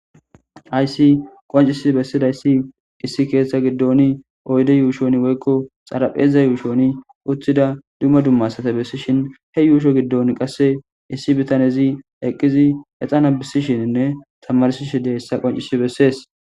aysi qoncisi bessidayssi issi keeththa giddoni oyde yuushon woykko xarapheza yuushoni uththida dumma dumma asata bessishin he yuusho giddon qasse issi bitanezi eqqizi exana bisishininne tamarsishi dia hissa qoncisi bessees